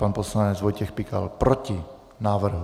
Pan poslanec Vojtěch Pikal: Proti návrhu.